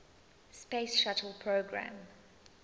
space shuttle program